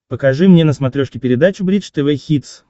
покажи мне на смотрешке передачу бридж тв хитс